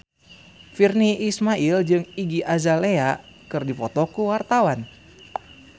Virnie Ismail jeung Iggy Azalea keur dipoto ku wartawan